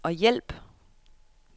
hjælp